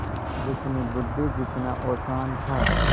जितनी बुद्वि जितना औसान था